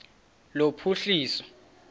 lophuhliso